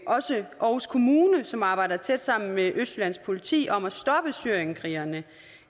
også aarhus kommune som arbejder tæt sammen med østjyllands politi om at stoppe syrienskrigerne